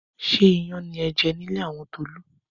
Ṣé iyán ni ẹ jẹ ní ilé àwọn Tolú?